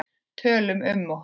Tölum um okkur.